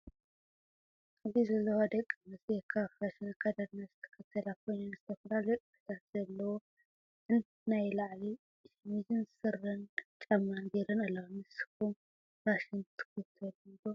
ኣብዚ ዘለዋ ደቂ ኣንስትዮ ካብ ፋሽን ኣከዳድና ዝተከተላ ኮይነን ዝተፈላለዩ ቅድታት ዘለዎ ክ ናይ ላዕሊ ሸሚዝን ስረን ጫማን ገይረን ኣለዋ። ንስኩም ፋሽን ትክተሉ ዶ?